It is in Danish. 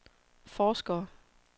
forskere